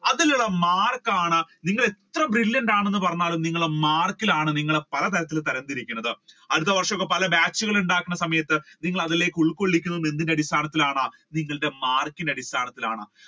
അതിലുള്ള mark ആണ് നിങ്ങൾ എത്ര brilliant ആണെന്ന് പറഞ്ഞാലും നിങ്ങളുടെ മാർക്കിലാണ് നിങ്ങളെ പലതരത്തിലും തലം തിരിക്കുന്നത്. അടുത്ത വർഷം പല batch ഉണ്ടാക്കുന്ന സമയത്തു നിങ്ങളെ അതിൽ ഉൾകൊള്ളിക്കുന്നത് എന്തിന്റെ അടിസ്ഥാനത്തിലാണ് നിങ്ങളുടെ mark ന്റെ അടിസ്ഥാനത്തിലാണ്